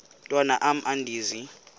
mntwan am andizi